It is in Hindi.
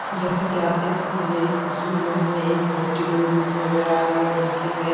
जैसा कि आप देख सकते हैं इस तस्वीर में हमें एक बहुत ही बड़ी बिल्डिंग नजर आ रही है और नीचे में --